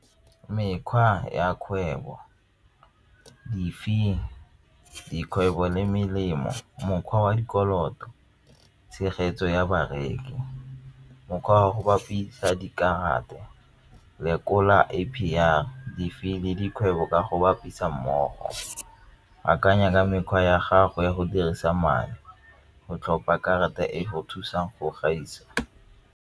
Mekgwa ya kgwebo, di-fee, dikgwebo le melemo, mokgwa wa dikoloto, tshegetso ya bareki, mokgwa wa go bapisa dikarata, lekola A_P_R di-fee le dikgwebo ka go bapisa mmogo, akanya ka mekgwa ya gago ya go dirisa madi go tlhopha karata e go thusang go gaisa.